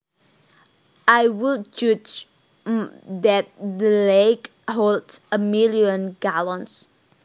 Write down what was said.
I would judge that the lake holds a million gallons